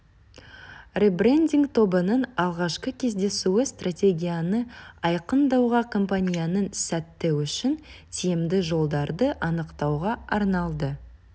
ребрендинг тобының алғашқы кездесуі стратегияны айқындауға компанияның сәтті үшін тиімді жолдарды анықтауға арналды